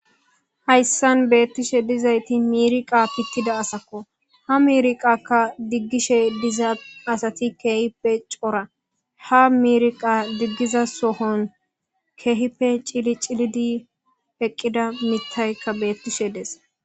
Hayssan beettishe dizayti miirqa pittida asakko ha mirqakka diggishe diza asati keehipe cora ha mirqa diggiza sohon keehipe cili cilidi eqqida mittaykka beettishe des.